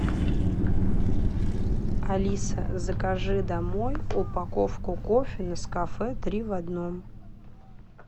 алиса закажи домой упаковку кофе нескафе три в одном